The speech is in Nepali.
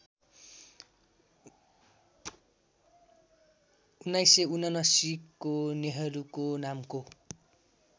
१९७९ को नेहरुको नामको